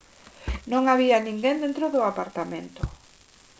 non había ninguén dentro do apartamento